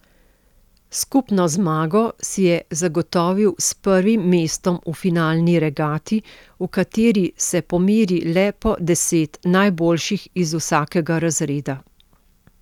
Skupno zmago si je zagotovil s prvim mestom v finalni regati, v kateri se pomeri le po deset najboljših iz vsakega razreda.